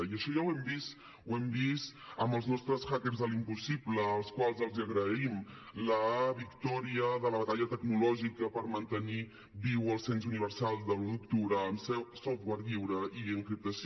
i això ja ho hem vist ho hem vist amb els nostres hackers de l’impossible als quals els agraïm la victòria de la batalla tecnològica per mantenir viu el cens universal de l’un d’octubre amb software lliure i encriptació